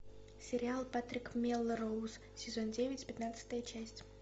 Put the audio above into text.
сериал патрик мелроуз сезон девять пятнадцатая часть